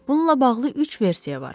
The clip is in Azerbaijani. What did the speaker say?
Bununla bağlı üç versiya var.